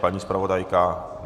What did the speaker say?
Paní zpravodajka?